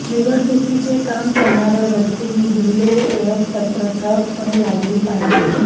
निवडणुकीचे काम करणाऱ्या व्यक्तींनी बिल्ले व ओळखपत्र ठळकपणे लावली पाहिजेत